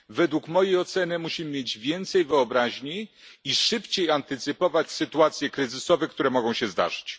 Według mojej oceny musimy mieć więcej wyobraźni i szybciej wyprzedzać sytuacje kryzysowe, które mogą się zdarzyć.